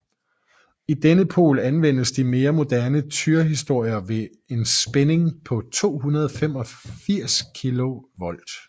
I denne pol anvendes de mere moderne tyristorer ved en spænding på 285 kV